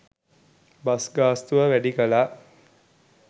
bus ගාස්තුව වැඩි කළා